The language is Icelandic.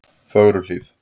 Fögruhlíð